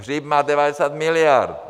Hřib má 90 miliard!